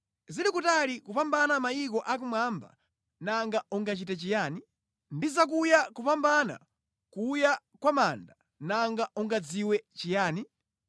Zili kutali kupambana mayiko akumwamba, nanga ungachite chiyani? Ndi zakuya kupambana kuya kwa manda, nanga ungadziwe chiyani?